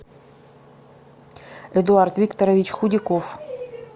эдуард викторович худяков